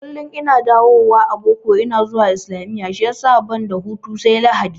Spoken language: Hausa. Kullum in na dawo a boko ina zuwa islamiyya shiyasa banda hutu sai Lahadi